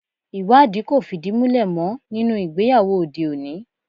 Ìwádìí kò fìdí múlẹ̀ mọ́ nínú ìgbéyàwó òde òní